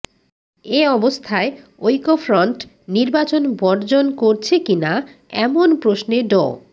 এ অবস্থায় ঐক্যফ্রন্ট নির্বাচন বর্জন করছে কিনা এমন প্রশ্নে ড